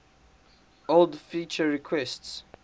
old feature requests